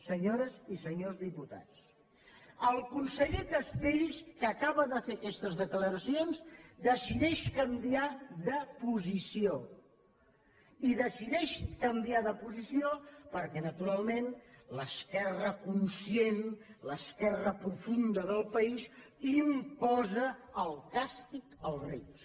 senyores i senyors diputats el conseller castells que acaba de fer aquestes declaracions decideix canviar de posició i decideix canviar de posició perquè naturalment l’esquerra conscient l’esquerra profunda del país imposa el càstig als rics